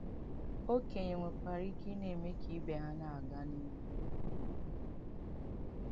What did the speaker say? Okenye nwekwara ike na-eme ka ndị ibe ha na-aga n’ihu.